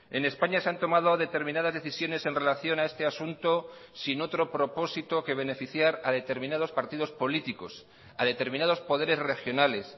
en españa se han tomado determinadas decisiones en relación a este asunto sin otro propósito que beneficiar a determinados partidos políticos a determinados poderes regionales